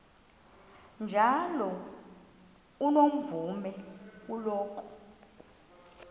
njalo unomvume kuloko